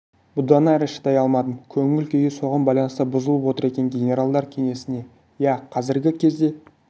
бұдан әрі шыдай алмадым көңіл күйі соған байланысты бұзылып отыр екен генералдар кеңесі иә қазіргі кезде